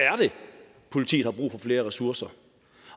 politiet har brug for flere ressourcer